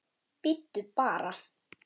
Bíddu bara!